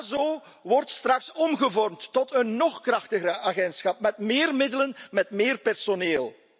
EASO wordt straks omgevormd tot een nog krachtiger agentschap, met meer middelen, met meer personeel.